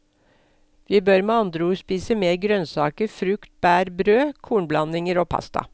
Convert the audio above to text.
Vi bør med andre ord spise mer grønnsaker, frukt, bær, brød, kornblandinger og pasta.